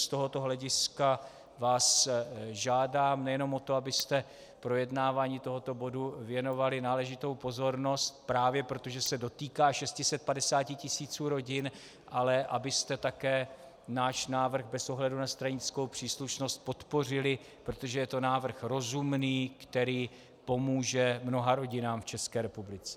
Z tohoto hlediska vás žádám nejenom o to, abyste projednávání tohoto bodu věnovali náležitou pozornost právě proto, že se dotýká 650 tisíc rodin, ale abyste také náš návrh bez ohledu na stranickou příslušnost podpořili, protože je to návrh rozumný, který pomůže mnoha rodinám v České republice.